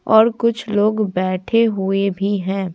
और कुछ लोग बैठे हुए भी हैं।